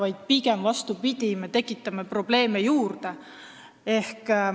Siis me pigem vastupidi, tekitame probleeme juurde.